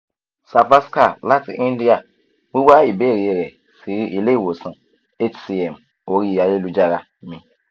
savaskar lati india wiwa ibeere rẹ si ile-iwosan hcm ori ayelujara mi